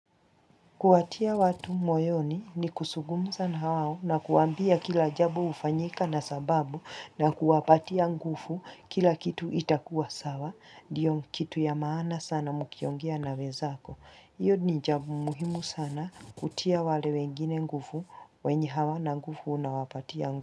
Kuwatia watu moyoni ni kusungumza na wao na kuwambia kila jabo ufanyika na sababu na kuwapatia ngufu kila kitu itakuwa sawa, diyo kitu ya maana sana mkiongea na wezako. Iyo ni jabo muhimu sana kutia wale wengine ngufu, wenye hawana ngufu unawapatia ngufu.